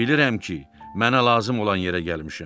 Bilirəm ki, mənə lazım olan yerə gəlmişəm.